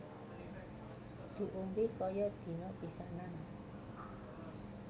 Diombe kaya dina pisanan